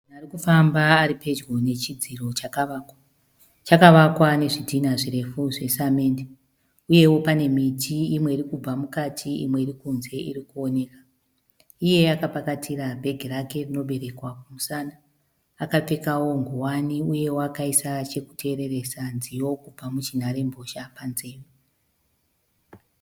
Arikufamba ari pedyo ne chidziro chakawakwa chakawakwa nezvidhinha zvirefu zve samende uyewo pane miti imwe iri kubva mukati imwe irikunze irikuoneka iye akapakatira bhegi rake rinoberekwa kumusana akapfekawo nguwani uyewo akaisa chekuteereresa nziyo kubva munharembozha panzewe